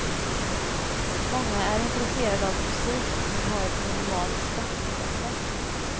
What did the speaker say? Många är intresserade av musik, men har ett minimalt sportintresse.